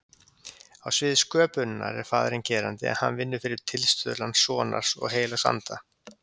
Á sviði sköpunarinnar er faðirinn gerandi en hann vinnur fyrir tilstuðlan sonar og heilags anda.